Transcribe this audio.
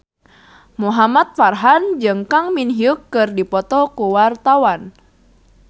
Muhamad Farhan jeung Kang Min Hyuk keur dipoto ku wartawan